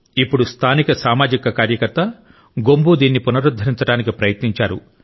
ఇప్పుడు స్థానిక సామాజిక కార్యకర్త గొంబు దీన్ని పునరుద్ధరించడానికి ప్రయత్నించారు